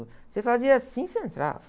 Você fazia assim e você entrava.